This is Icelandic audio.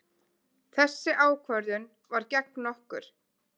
Þessi ákvörðun var gegn okkur.